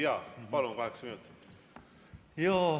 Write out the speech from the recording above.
Jaa, palun, kaheksa minutit!